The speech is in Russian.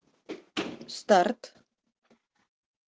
старт